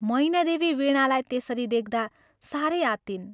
मैनादेवी वीणालाई त्यसरी देख्दा सारै आत्तिइन्।